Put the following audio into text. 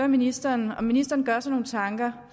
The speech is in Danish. ministeren om ministeren gør sig nogle tanker